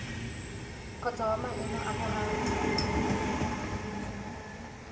kgotsa wa maemo a boraro